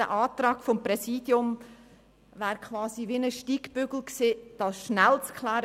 Der Antrag des Präsidiums wäre quasi ein Steigbügel gewesen, um diese Frage genau abzuklären.